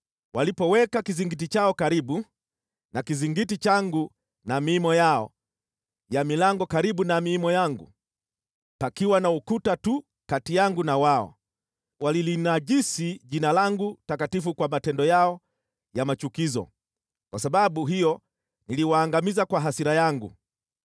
Walipoweka kizingiti chao karibu na kizingiti changu na miimo yao ya milango karibu na miimo yangu, pakiwa na ukuta tu kati yangu na wao, walilinajisi Jina langu takatifu kwa matendo yao ya machukizo. Kwa sababu hiyo niliwaangamiza kwa hasira yangu.